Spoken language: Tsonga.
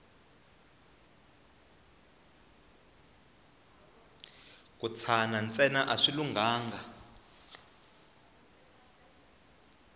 ku tshana ntsena a swi lunghanga